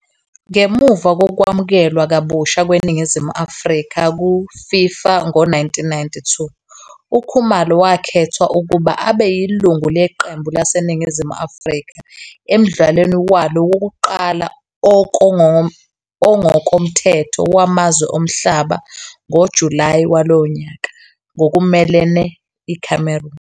Ngemuva kokwamukelwa kabushá kweNingizimu Afrika ku-I-FIFA ngo-1992, uKhumalo wakhethwa ukuba abe yilungu leqembu laseNingizimu Afrika emdlalweni walo wokuqala ongokomthetho wamazwe omhlaba ngoJulayi walowo nyaka, ngokumelene ICameroon.